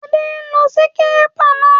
Adé n lo síkírépà náà